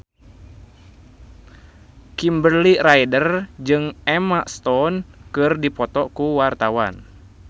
Kimberly Ryder jeung Emma Stone keur dipoto ku wartawan